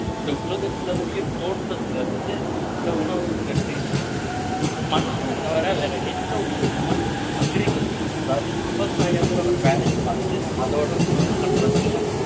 இந்த உலகத்துல உயிர் தோன்றதுல இருந்து இந்த உணவுங்கிறது இருக்கு மனுஷனை தவிர வேற எந்த உயிரினமும் agriculture அதாவது விவசாயங்கிற ஒரு வேலையை பார்த்து அதோட உணவு பண்றது இல்லை